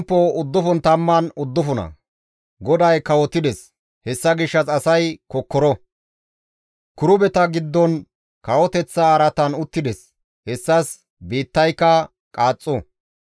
GODAY kawotides! Hessa gishshas asay kokkoro! kirubeta giddon kawoteththa araatan uttides; hessas biittayka qaaxxo.